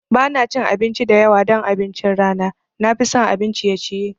Ba na cin abinci da yawa don abincin rana, na fi son abun ciye ciye.